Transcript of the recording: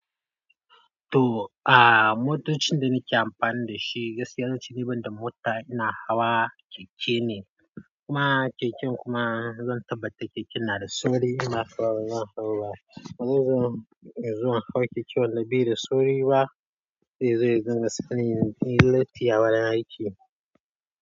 To aaaa motocin da nake amfani da shi, gaskiya zan ci ni ban da mota ina hawa keke ne, kuma keken kuma zan tabbata keke na da sori ina hawa zan hau ba, bazan zo zan hau keke wanda bai da sori ba. Zai zo ya dinga sani latti a wurin aiki.